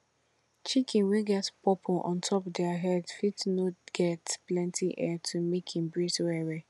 chicken wey get purple ontop dere head fit no dey get plenty air to make am breathe well well